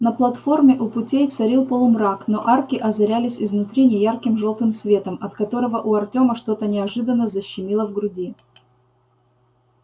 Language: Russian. на платформе у путей царил полумрак но арки озарялись изнутри неярким жёлтым светом от которого у артема что-то неожиданно защемило в груди